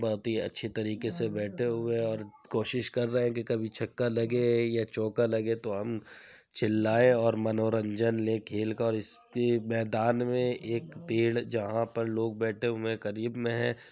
बहुत ही अच्छी तरीके से बैठे हुए और कोशिश कर रहे हैं कि कभी छक्का लगे या चौका लगे तो हम चिल्लाएं और मनोरंजन लें खेल का और इसके मैदान में एक पेड़ जहां पर लोग बैठे हुए करीब में हैं।